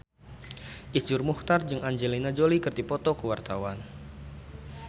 Iszur Muchtar jeung Angelina Jolie keur dipoto ku wartawan